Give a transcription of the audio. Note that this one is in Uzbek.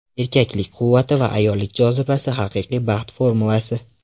Erkaklik quvvati va ayollik jozibasi – haqiqiy baxt formulasi.